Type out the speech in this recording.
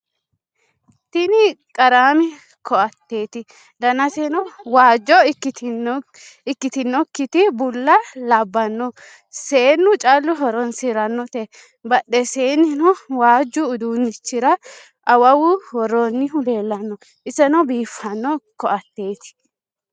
Tinni qarramme ko'atteti dannasenno waajjo ikitinokiti bulla labbanoe seenu callu horonisiranotte. Badhennisenino waajju uddunichira awawu worronihu leelanno iseno biifano koatteti